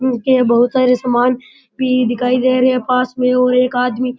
उनके बहुत सारे सामान भी दिखाई दे रहे है पास में और एक आदमी --